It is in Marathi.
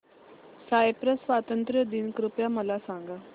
सायप्रस स्वातंत्र्य दिन कृपया मला सांगा